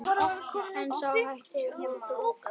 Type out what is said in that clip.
En sú hætta vofir yfir.